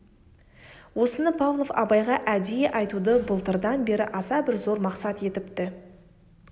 осыны павлов абайға әдейі айтуды былтырдан бері аса бір зор мақсат етіпті